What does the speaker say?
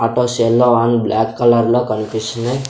అటో సెల్లో on black colour లో కన్పిస్తుంది.